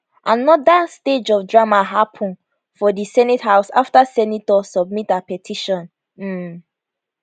anoda stage of drama happun for di senate house afta senator submit her petition um